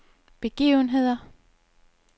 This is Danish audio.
begivenheder